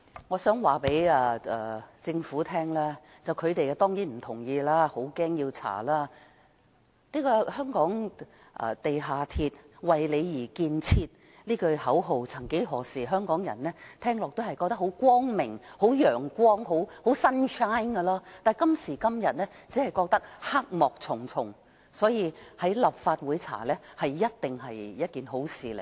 我想告訴政府，官員當然不同意，很害怕要調查事件，"香港地下鐵，為你而建設"這句口號曾幾何時香港人聽到感到很光明、很陽光，但今時今日只覺得黑幕重重，所以，在立法會調查一定是一件好事。